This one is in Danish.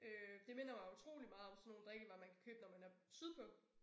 Øh det minder mig utrolig meget om sådan nogle drikkevarer man kan købe når man er sydpå